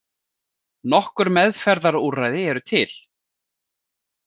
Nokkur meðferðarúrræði eru til.